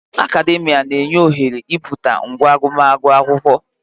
Academa na-enye ohere ibudata ngwa agụmakwụkwọ.